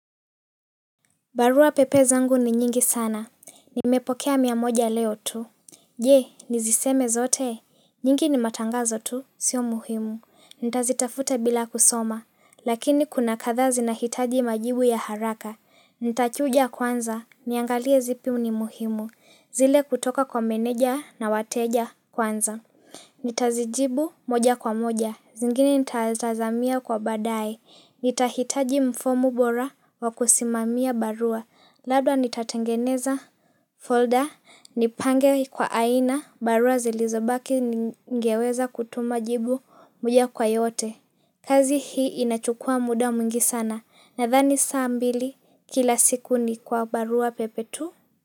Barua pepe zangu ni nyingi sana. Nimepokea miamoja leo tu. Je niziseme zote. Nyingi ni matangazo tu. Sio muhimu nitazitafuta bila kusoma. Lakini kuna kadhaa zinahitaji majibu ya haraka. Ntachuja kwanza niangalie zipi ni muhimu. Zile kutoka kwa meneja na wateja kwanza. Nitazijibu moja kwa moja. Zingine nitatazamia kwa baadaye. Nitahitaji mfomu bora wa kusimamia barua labda nitatengeneza folder nipange kwa aina barua zilizobaki. Ngeweza kutuma jibu muja kwa yote. Kazi hii inachukua muda mwingi sana nadhani saa mbili kila siku ni kwa barua pepe tu.